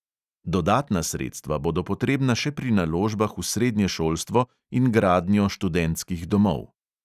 Dodatna sredstva bodo potrebna še pri naložbah v srednje šolstvo in gradnjo študentskih domov.